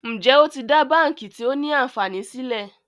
Njé o tí dá bánkì tio ní ànfàní sílè?